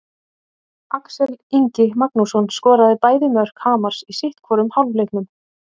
Axel Ingi Magnússon skoraði bæði mörk Hamars í sitthvorum hálfleiknum.